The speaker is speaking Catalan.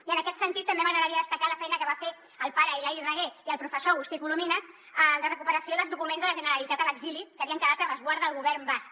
i en aquest sentit també m’agradaria destacar la feina que van fer el pare hilari raguer i el professor agustí colomines de recuperació dels documents de la generalitat a l’exili que havien quedat a resguard del govern basc